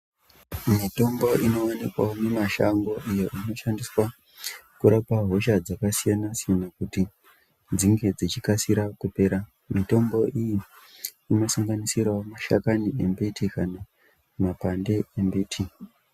Mitombo inoonekwawo mumashango iyo inoshandiswa kurapa hosha dzakasiyana-siyana kuti dzinge dzichikasira kupera. Mitombo iyi inosanganisirawo mashakani embiti kana makwande embiti.